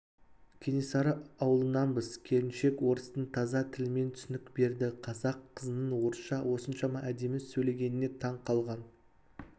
кенесары аулынанбыз келіншек орыстың таза тілімен түсінік берді қазақ қызының орысша осыншама әдемі сөйлегеніне таң қалған